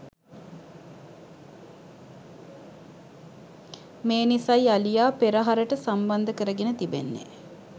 මේ නිසයි අලියා පෙරහරට සම්බන්ධ කරගෙන තිබෙන්නේ